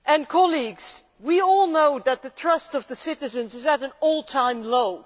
Colleagues, we all know that the trust of the citizens is at an all time low.